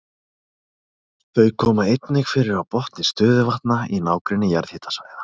Þau koma einnig fyrir á botni stöðuvatna í nágrenni jarðhitasvæða.